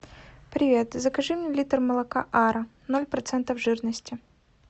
привет закажи мне литр молока ара ноль процента жирности